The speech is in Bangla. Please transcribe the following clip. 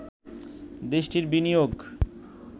দেশটির বিনিয়োগ